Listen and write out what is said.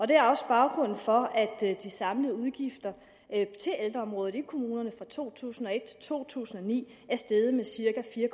det er også baggrunden for at de samlede udgifter til ældreområdet i kommunerne fra to tusind og et til to tusind og ni er steget med cirka fire